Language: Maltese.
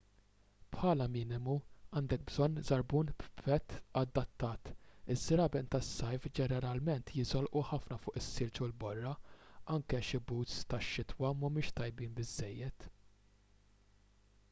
bħala minimu għandek bżonn żarbun b'pett adattat iż-żraben tas-sajf ġeneralment jiżolqu ħafna fuq is-silġ u l-borra anke xi boots tax-xitwa mhumiex tajbin biżżejjed